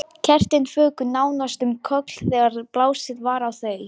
Kertin fuku nánast um koll þegar blásið var á þau.